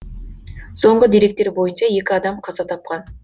соңғы деректер бойынша екі адам қаза тапқан